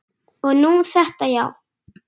Og nú þetta, já.